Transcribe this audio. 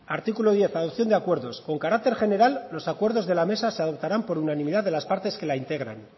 artículo diez adopción de acuerdos con carácter general los acuerdos de la mesa se adoptarán por unanimidad de las partes que la integran